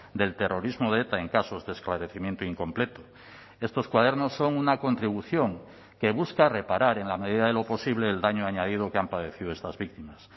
del terrorismo de eta en casos de esclarecimiento incompleto estos cuadernos son una contribución que busca reparar en la medida de lo posible el daño añadido que han padecido estas víctimas